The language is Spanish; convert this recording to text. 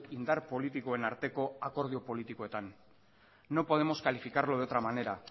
indar politikoen arteko akordio politikoetan no podemos calificarlo de otra manera